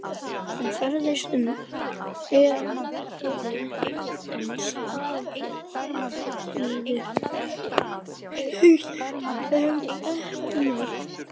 Hann ferðaðist um héraðið en starfaði lítið sem ekki neitt.